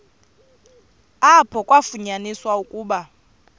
apho kwafunyaniswa ukuba